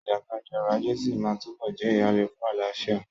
Ìjàkadì ọrọ̀ ajé sí máa túbọ̀ jẹ́ ìhàlẹ̀ fún àlàáfíà.